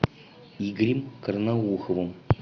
игорем карнауховым